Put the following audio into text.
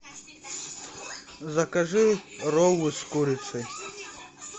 закажи роллы с курицей